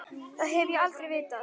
Það hef ég aldrei vitað.